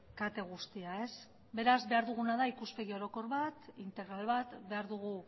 kate guztia beraz behar duguna da ikuspegi orokor bat integral bat behar dugu